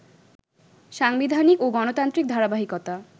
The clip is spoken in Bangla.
সাংবিধানিক ও গণতান্ত্রিক ধারাবাহিকতা